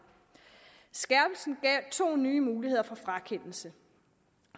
skærpelsen gav to nye muligheder for frakendelse